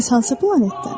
Bəs hansı planetdən?